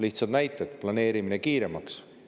Lihtne näide: planeerimine kiiremaks.